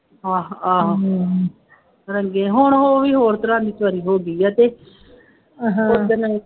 ਆਹੋ ਆਹੋ ਰੰਗੇ ਹੁਣ ਉਹ ਵੀ ਹੋਰ ਤਰ੍ਹਾਂ ਦੀ ਹੋ ਗਈ ਹੈ ਅਤੇ ਹਾਂ ਉਹ ਦਿਨ ਵਾਲੀ